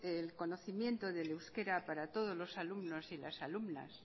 el conocimiento del euskara para todos los alumnos y alumnas